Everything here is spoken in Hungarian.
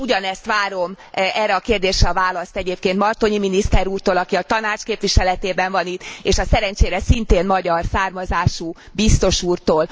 És ugyanezt várom, erre a kérdésre a választ egyébként Martonyi miniszter úrtól, aki a Tanács képviseletében van itt, és a szerencsére szintén magyar származású biztos úrtól.